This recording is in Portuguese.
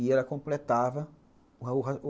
E ela completava o raciocínio.